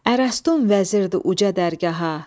Ərəstun vəzir idi uca dərgaha.